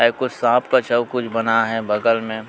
एको सांप कस कुछ अउ बना हे बगल मे--